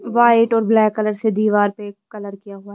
white और black colour से दीवार पे कलर किया गया--